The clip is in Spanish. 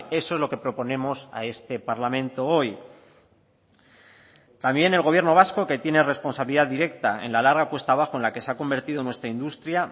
eso es lo que proponemos a este parlamento hoy también el gobierno vasco que tiene responsabilidad directa en la larga cuesta abajo en la que se ha convertido nuestra industria